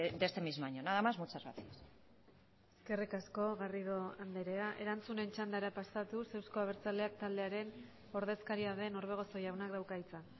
de este mismo año nada más muchas gracias eskerrik asko garrido andrea erantzunen txandara pasatuz euzko abertzaleak taldearen ordezkaria den orbegozo jaunak dauka hitza